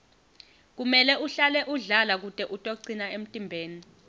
kumele uhlale udlala kute utocina emtimbeni